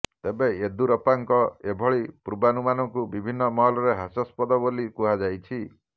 ତେବେ ୟେଦୁରପ୍ପାଙ୍କ ଏଭଳି ପୂର୍ବାନୁମାନକୁ ବିଭିନ୍ନ ମହଲରେ ହାସ୍ୟାସ୍ପଦ ବୋଲି କୁହାଯାଇଛି